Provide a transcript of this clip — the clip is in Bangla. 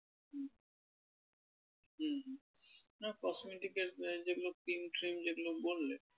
হুম হুম না cosmetic এর যেগুলো cream ট্রিম যেগুলো বললে